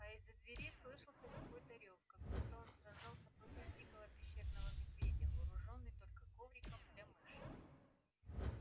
а из-за двери слышался какой-то рёв как будто он сражался против дикого пещерного медведя вооружённый только ковриком для мыши